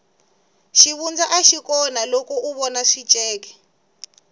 xivundza axi kona loko u vona swikece